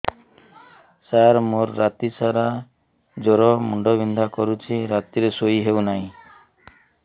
ସାର ମୋର ରାତି ସାରା ଜ୍ଵର ମୁଣ୍ଡ ବିନ୍ଧା କରୁଛି ରାତିରେ ଶୋଇ ହେଉ ନାହିଁ